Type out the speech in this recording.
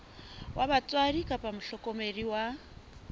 wa batswadi kapa mohlokomedi wa